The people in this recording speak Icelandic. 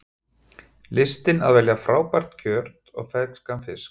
Listin að velja frábært kjöt og ferskan fisk